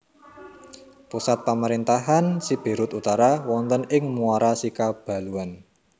Pusat pamarentahan Siberut Utara wonten ing Muara Sikabaluan